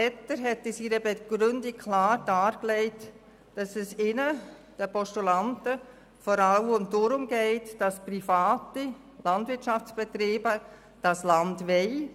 Etter hat in seiner Begründung klar dargelegt, dass es den Postulaten vor allem darum geht, dass private Landwirtschaftsbetriebe das Land haben wollen.